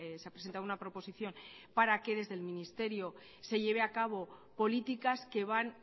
se ha presentado una proposición para que desde el ministerio se lleven a cabo políticas que van